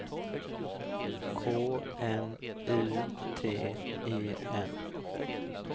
K N U T E N